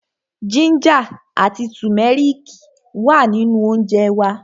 Jínjà àti tùmẹ́rìkì ma wà nínú óńjẹ wa.